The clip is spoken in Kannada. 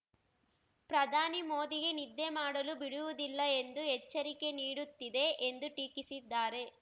ಪ್ರಧಾನಿ ಮೋದಿಗೆ ನಿದ್ದೆ ಮಾಡಲು ಬಿಡುವುದಿಲ್ಲ ಎಂದು ಎಚ್ಚರಿಕೆ ನೀಡುತ್ತಿದೆ ಎಂದು ಟೀಕಿಸಿದ್ದಾರೆ